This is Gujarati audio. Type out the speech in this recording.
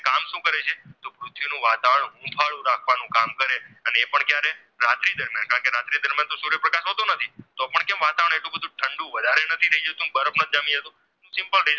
ઠંડુ વધારે નથી થાય જતું બરફ જામી જતો simple